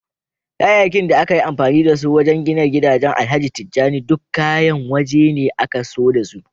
Kayayyakin da aka yi amfani da su wajen gina gidan alhaji tijjani duk kayan wajene aka zo dasu